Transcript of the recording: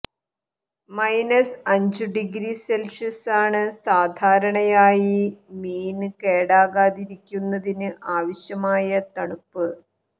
minus അഞ്ചു degree സെല്ഷ്യസാണ് സാധരണയായി മീന് കേടാകാതിരിക്കുന്നതിന് ആവശ്യമായ തണുപ്പ്